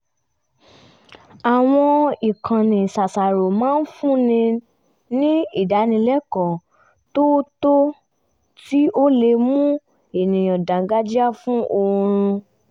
àwọn ìkànnì ṣàṣàrò máa ń fún ni ní ìdánilẹ́kọ̀ọ́ tó tọ́ tí ó lè mú ènìyàn dáńgájíá fún oorun